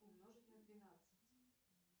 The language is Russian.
умножить на двенадцать